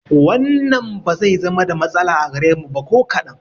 Wannan ba zai zama da matsala a gare mu ba ko kaɗan